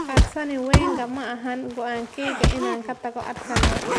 Arsene Wenger: Ma ahayn go'aankeyga inaan ka tago Arsenal